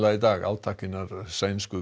í dag átak hinnar sænsku